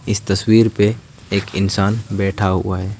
इस तस्वीर पे एक इंसान बैठा हुआ है।